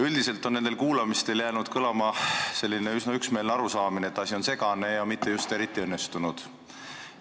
Üldiselt on nendel kuulamistel jäänud kõlama selline üsna üksmeelne arusaamine, et asi on segane ja mitte just eriti õnnestunud.